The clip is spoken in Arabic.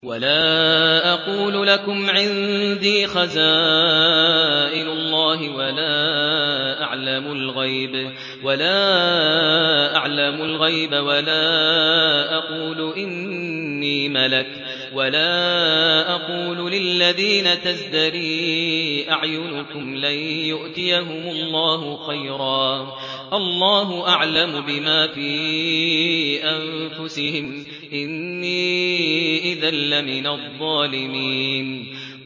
وَلَا أَقُولُ لَكُمْ عِندِي خَزَائِنُ اللَّهِ وَلَا أَعْلَمُ الْغَيْبَ وَلَا أَقُولُ إِنِّي مَلَكٌ وَلَا أَقُولُ لِلَّذِينَ تَزْدَرِي أَعْيُنُكُمْ لَن يُؤْتِيَهُمُ اللَّهُ خَيْرًا ۖ اللَّهُ أَعْلَمُ بِمَا فِي أَنفُسِهِمْ ۖ إِنِّي إِذًا لَّمِنَ الظَّالِمِينَ